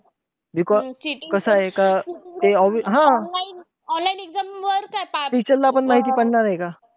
Because कसंय का? ते हा! online exam वर काय teacher ला पण माहिती पडणार आहे का?